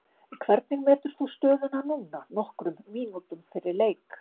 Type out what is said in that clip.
Hvernig metur þú stöðuna núna nokkrum mínútum fyrir leik?